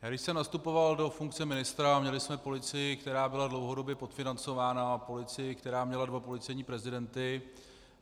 Když jsem nastupoval do funkce ministra, měli jsme policii, která byla dlouhodobě podfinancována, a policii, která měla dva policejní prezidenty.